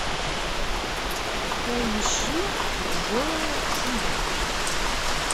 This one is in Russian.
поищи джоэла шумахера